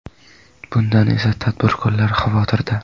Bundan esa tadbirkorlar xavotirda.